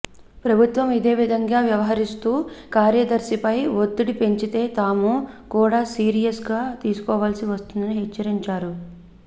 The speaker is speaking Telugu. ప్రభుత్వం ఇదే విధంగా వ్యవహరిస్తూ కార్యదర్శిపై ఒత్తడి పెంచితే తాము కూడా సీరియస్ గా తీసుకోవాల్సి వస్తుందని హెచ్చరించారు